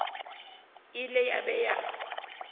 e ile ya be ya